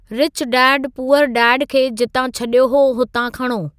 rich dad poor dad खे जितां छॾियो हो हुतां खणो